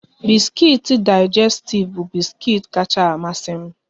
Biskuit Digestif bu biskuit kacha amasi m